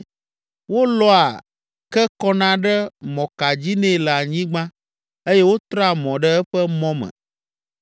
Wolɔa ke kɔna ɖe mɔka dzi nɛ le anyigba eye wotrea mɔ ɖe eƒe mɔ me.